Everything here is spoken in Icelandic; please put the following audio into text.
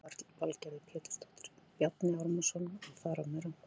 Lillý Valgerður Pétursdóttir: Bjarni Ármannsson að fara með rangt mál?